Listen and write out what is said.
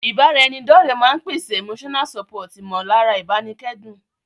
Ìbára ẹni dọ́ọ̀rẹ́ máa n pèsè Emotional support ìmọ̀lára ìbánikẹ́dùn